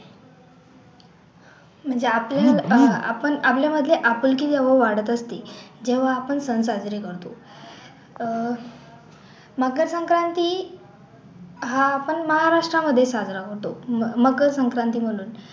म्हणजे आपले अह आपण आपल्या मधले आपुलकी जेव्हा वाढत असती जेव्हा आपण सण साजरे करतो अह मकर संक्रांति हा आपण महाराष्ट्रामध्ये साजरा करतो. म मकर संक्रांति म्हणून